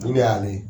Olu de y'ale